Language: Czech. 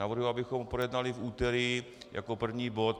Navrhuji, abychom ho projednali v úterý jako první bod.